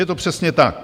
Je to přesně tak.